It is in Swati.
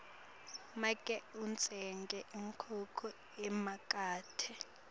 make utsenge inkhukhu emakethe